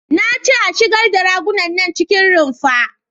Na ce a shigar da ragunan nan cikin rumfa!